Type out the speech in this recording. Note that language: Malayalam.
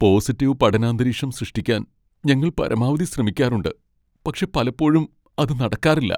പോസിറ്റീവ് പഠനാന്തരീക്ഷം സൃഷ്ടിക്കാൻ ഞങ്ങൾ പരമാവധി ശ്രമിക്കാറുണ്ട്, പക്ഷേ പലപ്പോഴും അത് നടക്കാറില്ല.